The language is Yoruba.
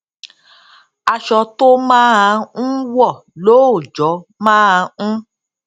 aṣọ tó máa n wò lóòjó máa ń